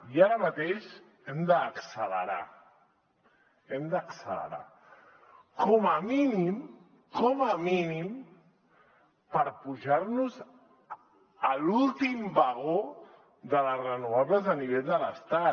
i ara mateix hem d’accelerar hem d’accelerar com a mínim com a mínim per enfilar nos a l’últim vagó de les renovables a nivell de l’estat